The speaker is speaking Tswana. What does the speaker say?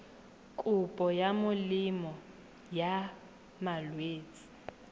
kopo ya molemo wa malwetse